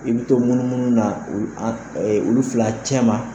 I bɛ to munumunu na olu fila cɛma